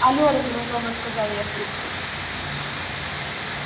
алё раздражённо сказал я в трубку